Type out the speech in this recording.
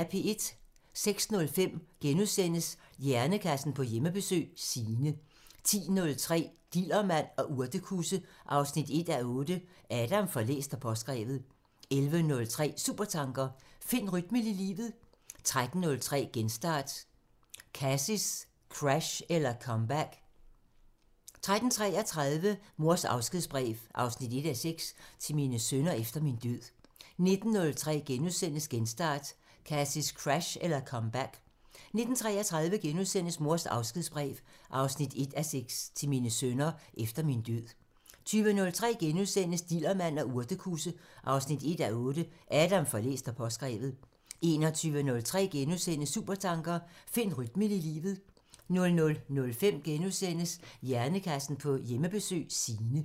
06:05: Hjernekassen på Hjemmebesøg – Signe * 10:03: Dillermand og urtekusse 1:8 Adam får læst og påskrevet 11:03: Supertanker: Find rytmen i livet 13:03: Genstart: Kasis crash eller comeback? 13:33: Mors afskedsbrev 1:6 – Til mine sønner efter min død 19:03: Genstart: Kasis crash eller comeback? * 19:33: Mors afskedsbrev 1:6 – Til mine sønner efter min død * 20:03: Dillermand og urtekusse 1:8 Adam får læst og påskrevet * 21:03: Supertanker: Find rytmen i livet * 00:05: Hjernekassen på Hjemmebesøg – Signe *